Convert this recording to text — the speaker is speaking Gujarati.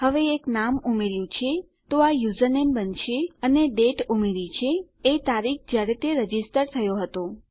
હવે એક નામ ઉમેર્યું છે તો આ યુઝરનેમ બનશે અને દાતે ઉમેરી છે એ તારીખ જયારે તે રજીસ્ટર થયો છે